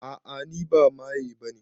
A'a ni ba maye bane